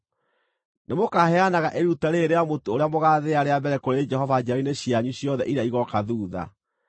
Nĩmũkaheanaga iruta rĩrĩ rĩa mũtu ũrĩa mũgathĩa rĩa mbere kũrĩ Jehova njiarwa-inĩ cianyu ciothe iria igooka thuutha.